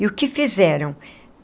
E o que fizeram?